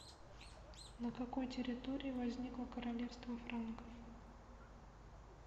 на какой территории возникло королевство франков